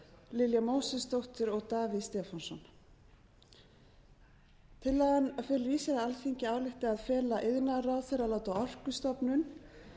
lilja mósesdóttir og davíð stefánsson tillagan felur í sér að alþingi ályktar að fela iðnaðarráðherra að láta orkustofnun